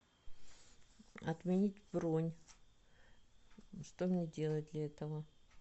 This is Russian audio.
отменить бронь что мне делать для этого